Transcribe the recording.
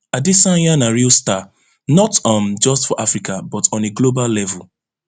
adesanya na real star not um just for africa but on a global level